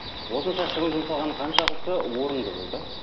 осынша шығын жұмсалғаны қаншалықты орынды болды